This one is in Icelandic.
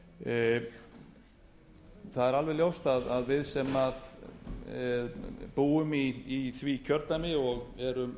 spyrja um það það er alveg ljóst að við sem búum í því kjördæmi og erum